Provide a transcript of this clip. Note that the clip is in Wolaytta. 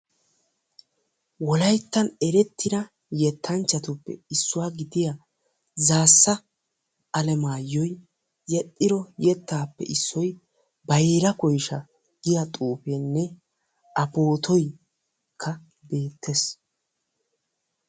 wolaytta ereittida yettanchchatuppe issuwa gidiya Zaassa Alimayyo yedhdhiro yettappe issoy Bayra Koyshsha giiya xuufenne A poottoy beettees.